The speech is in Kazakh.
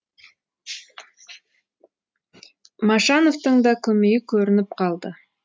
машановтың да көмейі көрініп қалды